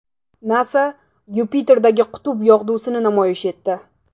NASA Yupiterdagi qutb yog‘dusini namoyish etdi .